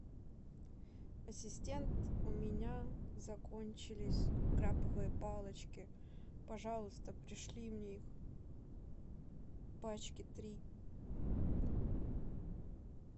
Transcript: ассистент у меня закончились крабовые палочки пожалуйста пришли мне их пачки три